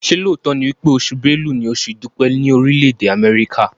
ṣe lóòtó ní wípé Oṣù Bélú ní Oṣù idupẹ ni Orile-ede Amẹrika?